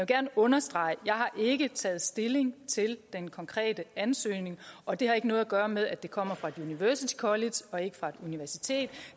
gerne understrege jeg har ikke taget stilling til den konkrete ansøgning og det har ikke noget at gøre med at det kommer fra et university college og ikke fra et universitet